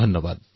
ধন্যবাদ